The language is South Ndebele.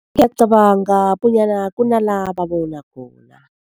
Ngiyacabanga bonyana kunala babona khona.